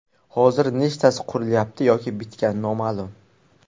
Hozir nechtasi qurilyapti yoki bitgan, noma’lum.